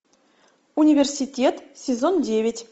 университет сезон девять